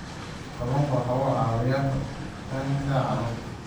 Kalluunku waxa uu caawiyaa koritaanka carruurta.